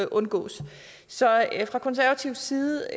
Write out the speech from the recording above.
undgås så fra konservativ side